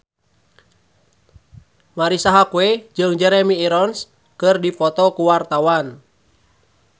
Marisa Haque jeung Jeremy Irons keur dipoto ku wartawan